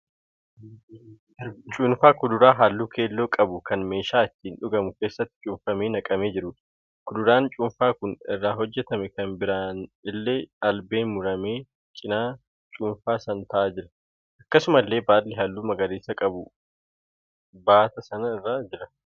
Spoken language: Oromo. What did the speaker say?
Cuunfaa kuduraa halluu keelloo qabu kan meeshaa itti dhugamu keessatti cuunfamee naqamee jiruudha. kuduraan cuunfaan kun irraa hojjetame kan biraan illee albeen muramee cina cuunfaa sanaa ta'aa jira. Akkasumallee baalli halluu magariisa qabu baata sana irra jira.